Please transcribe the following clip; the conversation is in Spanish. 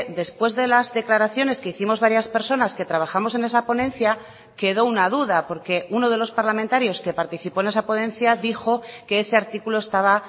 después de las declaraciones que hicimos varias personas que trabajamos en esa ponencia quedó una duda porque uno de los parlamentarios que participó en esa ponencia dijo que ese artículo estaba